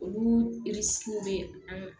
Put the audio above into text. Olu bɛ an